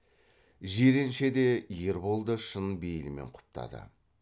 жиренше де ербол да шын бейілмен құптады